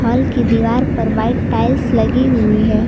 Hall की दीवार पर व्हाइट टाइल्स लगी हुई है।